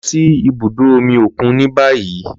Lọ si ibudo omi okun ni bayi!